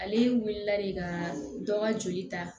Ale wulila de ka dɔ ka joli ta